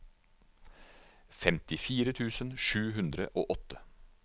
femtifire tusen sju hundre og åtte